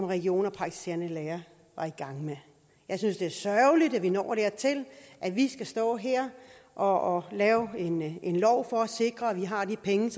regioner og praktiserende læger var i gang med jeg synes det er sørgeligt at vi når dertil at vi skal stå her og lave en en lov for at sikre at vi har de penge